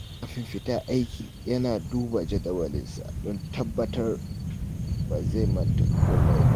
Kafin fita aiki, yana duba jadawalinsa don tabbatar da ba zai manta komai ba.